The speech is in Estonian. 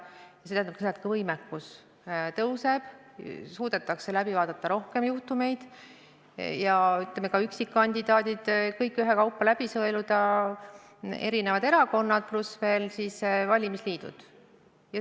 Ja see tähendab seda, et ka võimekus tõuseb, suudetakse läbi vaadata rohkem juhtumeid ja, ütleme, ka üksikkandidaadid ühekaupa läbi sõeluda, samuti erakonnad ja valimisliidud.